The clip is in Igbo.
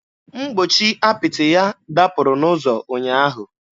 Mgbochi apịtị ya dapụrụ n'ụzọ ụnyaahụ.